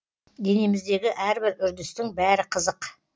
денеміздегі әрбір үрдістің бәрі қызық